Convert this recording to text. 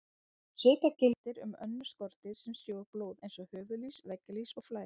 Svipað gildir um önnur skordýr sem sjúga blóð eins og höfuðlýs, veggjalýs og flær.